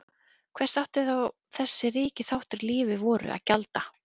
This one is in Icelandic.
Hvers átti þá þessi ríki þáttur í lífi voru að gjalda?